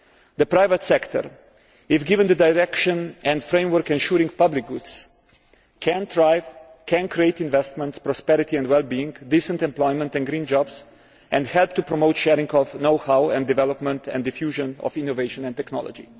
The private sector, if given the direction and framework ensuring public goods, can create investment, prosperity and well being, decent employment and green jobs and help to promote sharing of know how and development and diffusion of innovative technology.